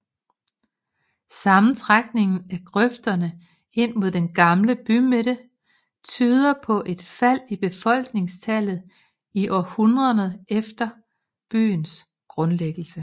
Sammentrækningen af grøfterne ind mod den gamle bymidte tyder på et fald i befolkningstallet i århundrederne efter byens grundlæggelse